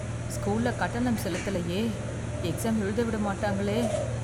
ஸ்கூல்ல கட்டணம் செலுத்தலயே எக்ஸாம் எழுத விட மாட்டாங்களே.